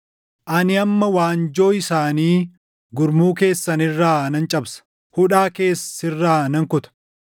Ani amma waanjoo isaanii gurmuu keessan irraa nan cabsa; hudhaa kees sirraa nan kuta.”